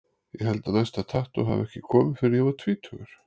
Ég held að næsta tattú hafi ekki komið fyrr en ég var tvítugur.